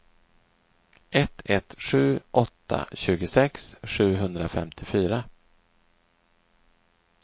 ett ett sju åtta tjugosex sjuhundrafemtiofyra